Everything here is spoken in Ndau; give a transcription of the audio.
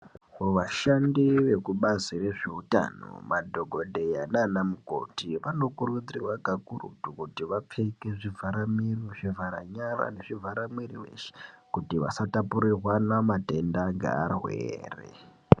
Vashandi vekubazi rezveutano madhokodheya nana mukoti vanokurudzirwa kakurutu kuti vapfeke zvivhara miro, zvivhara nyara nezvivhara mwiri weshe kuti vasatapurirwana matenda ngevarwere.